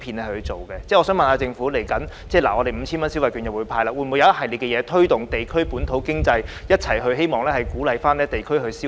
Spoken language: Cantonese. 我想問局長，未來政府會派發 5,000 元電子消費券，政府會否制訂一系列政策推動地區本土經濟，以鼓勵地區消費？